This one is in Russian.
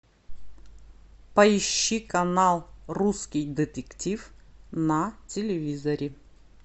поищи канал русский детектив на телевизоре